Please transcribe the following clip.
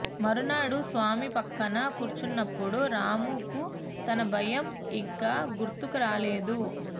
మరునాడు స్వామి ప్రక్కన కూర్చున్నప్పుడు రాముకు తన భయం ఇక గుర్తుకు రాలేదు